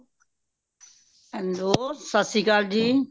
hello ਸਤਿ ਸ਼੍ਰੀ ਅਕਾਲ ਜੀ